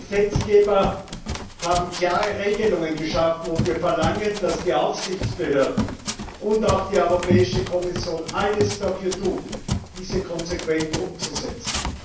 Wir als Gesetzgeber haben klare Regelungen geschaffen, und wir verlangen, dass die Aufsichtsbehörden und auch die Europäische Kommission alles dafür tun, diese konsequent umzusetzen.